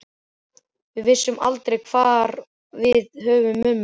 Við vissum aldrei hvar við höfðum mömmu.